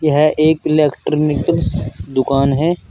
यह एक इलेक्ट्रॉनिकल्स दुकान है।